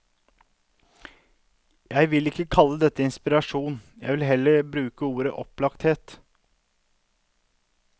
Jeg vil ikke kalle det inspirasjon, jeg vil heller bruke ordet opplagthet.